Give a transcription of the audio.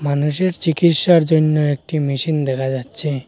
মানুষের চিকিৎসার জইন্য একটি মেশিন দেখা যাচ্ছে।